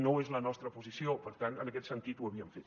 no és la nostra posició per tant en aquest sentit ho havíem fet